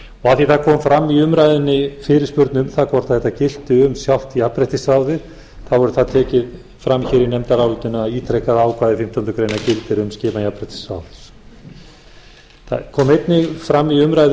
því það kom fram í umræðunni fyrirspurn um það hvort þetta gilti um sjálft jafnréttisráðið þá verður það tekið fram hér í nefndarálitinu að ítrekað ákvæði fimmtándu grein gildir um skipan í jafnréttisráð það komu einnig fram í umræðu um